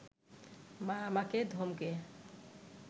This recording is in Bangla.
মা আমাকে ধমকে